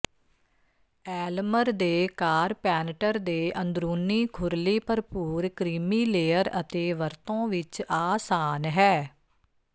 ਐਲਮਰ ਦੇ ਕਾਰਪੈਨਟਰ ਦੇ ਅੰਦਰੂਨੀ ਖੁਰਲੀ ਭਰਪੂਰ ਕ੍ਰੀਮੀਲੇਅਰ ਅਤੇ ਵਰਤੋਂ ਵਿੱਚ ਆਸਾਨ ਹੈ